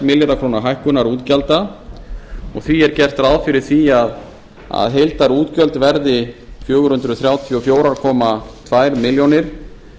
milljarða króna hækkunar útgjalda og því er gert ráð fyrir því að heildarútgjöld verði fjögur hundruð þrjátíu og fjögur komma tvær milljónir